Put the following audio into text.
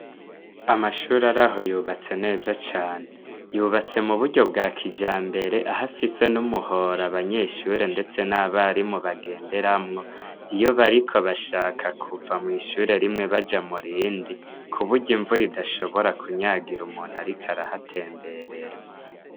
Amashuri araho yubatse neza cane, yubatse muburyo bwakijambere, ahafise n' umuhora abanyeshure ndetse n' abarimu bagenderamwo iyo bariko bashaka kuva mw' ishure rimwe baja mu rindi, kuburyo imvura idashobora kunyagira umuntu ariko arahatemberera.